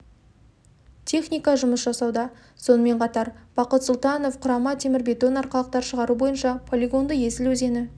техника жұмыс жасауда сонымен қатар бақыт сұлтанов құрама темірбетон арқалықтар шығару бойынша полигонды есіл өзені